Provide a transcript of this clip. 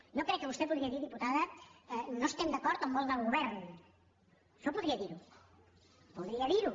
jo crec que vostè podria dir diputada no estem d’acord amb on vol anar el govern això podria dir ho